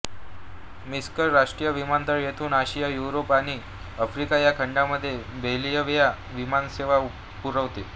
Minsk राष्ट्रीय विमानतळ येथून आशिया युरोप आणि आफ्रिका ह्या खंडांमध्ये बेलाव्हिया विमानसेवा पुरवते